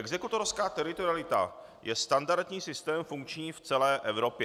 Exekutorská teritorialita je standardní systém, funkční v celé Evropě.